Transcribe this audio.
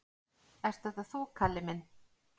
"""Ert þetta þú, Kalli minn?"""